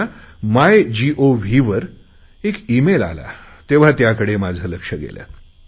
माझ्या माय गोव्हवर एक ईमेल आला तेव्हा त्याकडे माझे लक्ष गेले